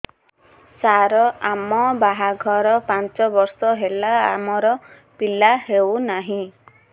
ସାର ଆମ ବାହା ଘର ପାଞ୍ଚ ବର୍ଷ ହେଲା ଆମର ପିଲା ହେଉନାହିଁ